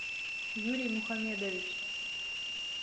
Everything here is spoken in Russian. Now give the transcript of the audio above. юрий мухамедович